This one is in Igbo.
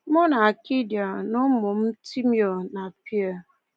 Mụ na Katia na ụmụ m, Timeo na Pierre.